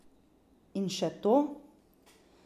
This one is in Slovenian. In še to.